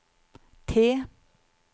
T